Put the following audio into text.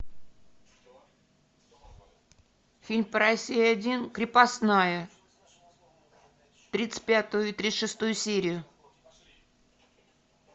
фильм по россии один крепостная тридцать пятую и тридцать шестую серию